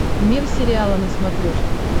мир сериала на смотрешке